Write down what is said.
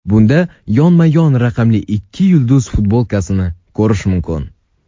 Bunda yonma-yon raqamli ikki yulduz futbolkasini ko‘rish mumkin.